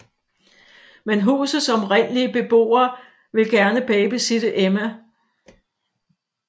Men husets oprindelige beboere vil gerne babysitte Emma